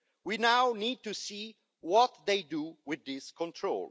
We now need to see what they do with this control.